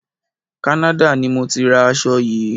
Canada ni mọ tí ra aṣo yìí.